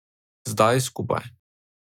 Zdaj skupaj.